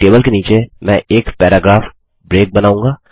अपनी टेबल के नीचे मैं एक पैराग्राफ ब्रेक बनाऊँगा